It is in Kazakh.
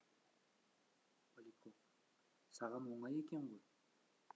поляков саған оңай екен ғой